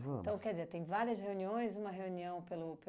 Vamos. Então, quer dizer, tem várias reuniões, uma reunião pelo